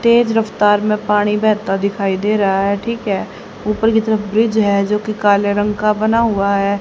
तेज रफ्तार में पानी बहता दिखाई दे रहा है ठीक है ऊपर की तरफ ब्रिज है जो कि काले रंग का बना हुआ है।